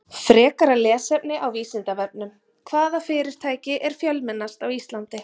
Frekara lesefni á Vísindavefnum: Hvaða fyrirtæki er fjölmennast á Íslandi?